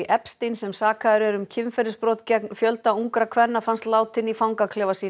Epstein sem sakaður er um kynferðisbrot gegn fjölda ungra kvenna fannst látinn í fangaklefa sínum